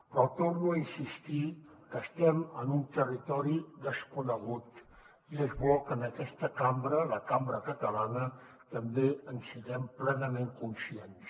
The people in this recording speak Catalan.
però torno a insistir que estem en un territori desconegut i és bo que en aquesta cambra la cambra catalana també en siguem plenament conscients